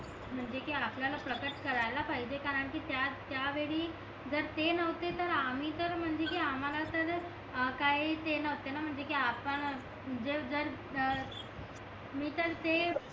म्हणजे कि आपल्याला प्रकट करायला पाहिजे कारण कि त्या त्या वेळी जर ते न्हवते तर आम्ही तर म्हणजेकि आम्हाला तर काय ते न्हवते ना म्हणजे कि आपण जर जर अं मी तर ते